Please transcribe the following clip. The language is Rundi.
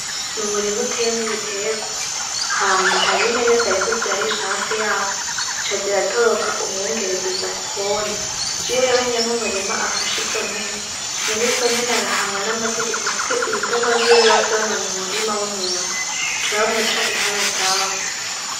N'umurima uteyemwo ibiterwa, hama hariyo impene zariko zirarisha hafi yawo zica ziratoroka umwungere ziza kwona, iyo rero nyene umurima afashe izo mpene, nyene izo mpene arahanwa n'amategeko kuko ibitungwa vyiwe biba vyononye umurima w'umuntu, baca bamuca iharadabu.